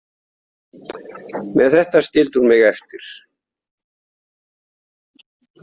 Með þetta skildi hún mig eftir.